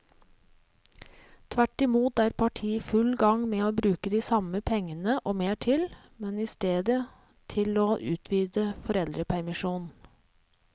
Tvert imot er partiet i full gang med å bruke de samme pengene og mer til, men i stedet til å utvide foreldrepermisjonen.